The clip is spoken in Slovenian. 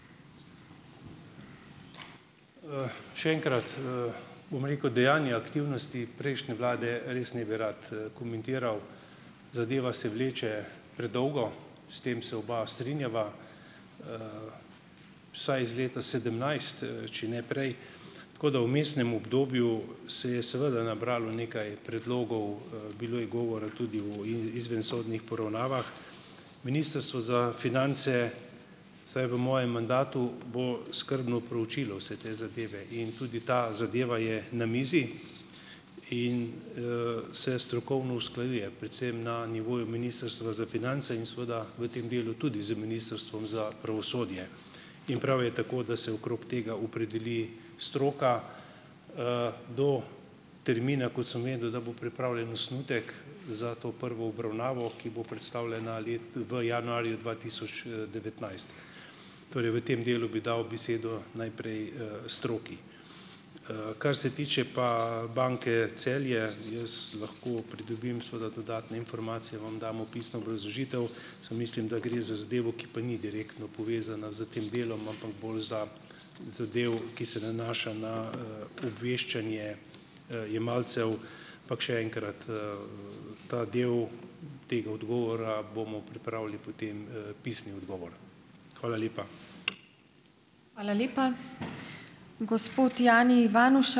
Še enkrat, bom rekel, dejanja aktivnosti prejšnje vlade res ne bi rad, komentiral. Zadeva se vleče predolgo. S tem se oba strinjava, vsaj iz leta sedemnajst, če ne prej, tako da vmesnem obdobju se je seveda nabralo nekaj predlogov. Bilo je govora tudi o izvensodnih poravnavah. Ministrstvo za finance vsaj v mojem mandatu bo skrbno proučilo vse te zadeve in tudi ta zadeva je na mizi in, se strokovno usklajuje, predvsem na nivoju ministrstva za finance in seveda v tem delu tudi z Ministrstvom za pravosodje, in prav je tako, da se okrog tega opredeli stroka. Do termina, kot sem vedel, da bo pripravljen osnutek za to prvo obravnavo, ki bo predstavljena v januarju dva tisoč, devetnajst. Torej v tem delu bi dal besedo najprej, stroki. Kar se tiče pa Banke Celje. Jaz lahko pridobim seveda dodatne informacije, vam dam opisno obrazložitev, samo mislim, da gre za zadevo, ki pa ni direktno povezana s tem delom, ampak bolj za zadevo, ki se nanaša na, obveščanje, jemalcev, ampak še enkrat, ta del tega odgovora bomo pripravili, potem, pisni odgovor. Hvala lepa.